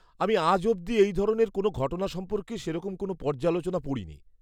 আমি আজ অব্দি এই ধরনের কোনও ঘটনা সম্পর্কে সেরকম কোনও পর্যালোচনা পড়িনি।